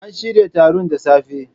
An shirya taron da safe.